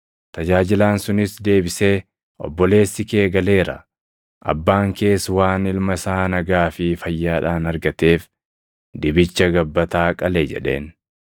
Tajaajilaan sunis deebisee, ‘Obboleessi kee galeera; abbaan kees waan ilma isaa nagaa fi fayyaadhaan argateef dibicha gabbataa qale’ jedheen.